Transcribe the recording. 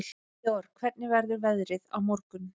Georg, hvernig verður veðrið á morgun?